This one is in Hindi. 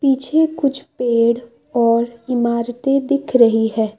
पीछे कुछ पेड़ और इमारतें दिख रही है।